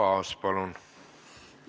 Arto Aas, palun!